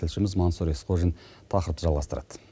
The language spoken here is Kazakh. тілшіміз маңсұр есқожин тақырыпты жалғастырады